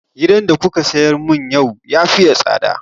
Giyan da kuka siyar mun yau ya faye tsada